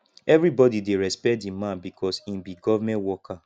everybodi dey respect di man because im be government worker